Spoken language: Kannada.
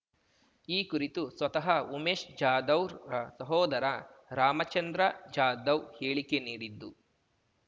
ಈ ಕುರಿತು ಸ್ವತಃ ಉಮೇಶ್‌ ಜಾಧವ್‌ರ ಸಹೋದರ ರಾಮಚಂದ್ರ ಜಾಧವ್‌ ಹೇಳಿಕೆ ನೀಡಿದ್ದು